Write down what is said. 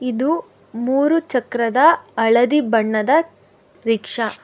ಇದು ಮೂರು ಚಕ್ರದ ಹಳದಿ ಬಣ್ಣದ ರಿಕ್ಷ .